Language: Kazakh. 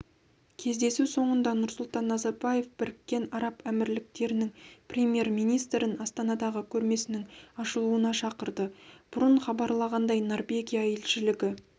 кездесу соңында нұрсұлтан назарбаев біріккен араб әмірліктерінің премьер-министрін астанадағы көрмесінің ашылуына шақырды бұрын хабарланғандай норвегия елшілігі